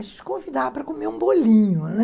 A gente convidava para comer um bolinho, né?